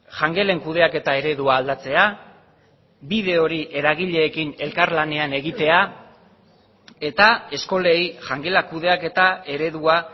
jangelen kudeaketa eredua aldatzea bide hori eragileekin elkarlanean egitea eta eskolei jangela kudeaketa eredua